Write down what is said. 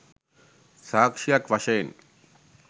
සාක්‍ෂියක් වශයෙන්